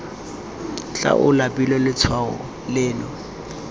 tla o labile letshwao leno